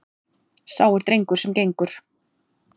Sá er drengur sem gengur.